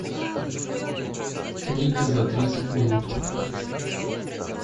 книги за тридцать минут